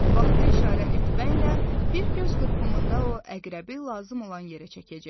Vaxta işarə etməklə bir göz qırpımında o əqrəbi lazım olan yerə çəkəcək.